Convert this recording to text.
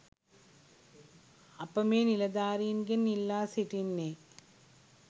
අප මේ නිලධාරීන්ගෙන් ඉල්ලා සිටින්නේ